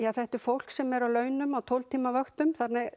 þetta er fólk sem er á launum á tólf tíma vöktum